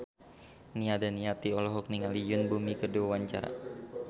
Nia Daniati olohok ningali Yoon Bomi keur diwawancara